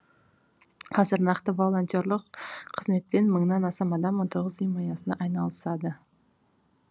қазір нақты волонтерлық қызметпен мыңнан астам адам он тоғыз ұйым аясында айналысады